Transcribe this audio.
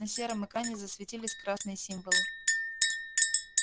на сером экране засветились красные символы